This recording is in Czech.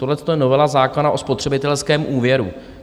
Tohleto je novela zákona o spotřebitelském úvěru.